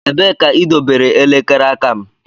Ebee ka idobere elekere aka m?